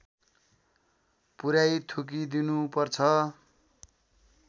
पुर्‍याई थुकिदिनुपर्छ